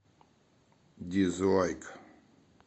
дизлайк